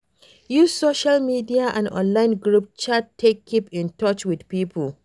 Use social media and online group chat take keep in touch with pipo